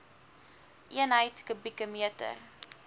eenheid kubieke meter